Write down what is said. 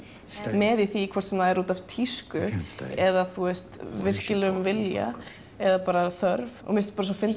með í því hvort sem er útaf tísku eða virkilegum vilja eða þörf mér finnst